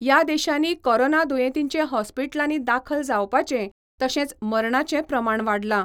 या देशांनी कोरोना दुयेंतींचें हॉस्पीटलांनी दाखल जावपाचें, तशेंच मरणाचें प्रमाण वाडलां.